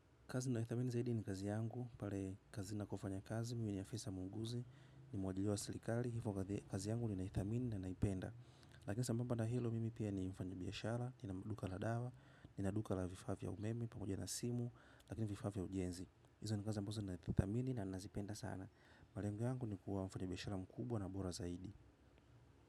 Kazi ninayoithamini zaidi ni kazi yangu, pale kazi nakofanya kazi, mimi ni afisa muuguzi, ni mwaajiriwa wa serikali, hivo kazi yangu nina ithamini na naipenda. Lakini sambamba na hilo mimi pia ni mfanyi biashara, nina duka la dawa, nina duka la vifaa vya umeme pamoja na simu, na pia vifaa vya ujenzi. Hizo ni kazi ambazo nathamini na nazipenda sana, malengo yangu ni kuwa mfanyi biashara mkubwa na bora zaidi.